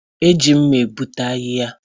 E ji mma egbutu ahịhịa